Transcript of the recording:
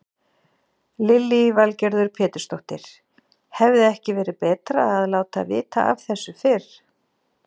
Lillý Valgerður Pétursdóttir: Hefði ekki verið betra að láta vita af þessu fyrr?